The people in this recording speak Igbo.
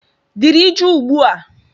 Dịrị jụụ ugbu a!